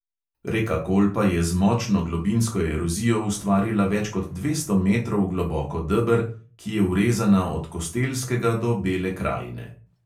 Reka kolpa je z močno globinsko erozijo ustvarila več kot dvesto metrov globoko deber, ki je vrezana od kostelskega do bele krajine.